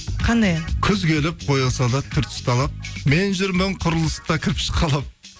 қандай ән күз келіп бояу салып түр тұсталып мен жүрмін құрылыста кірпіш қалап